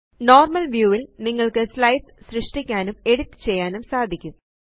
normal view യില് നിങ്ങള്ക്ക് slides സൃഷ്ടിക്കാനും എഡിറ്റ് ചെയ്യാനും സാധിക്കും